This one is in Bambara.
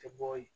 Tɛ bɔ yen